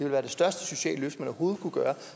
være det største sociale løft man overhovedet kunne gøre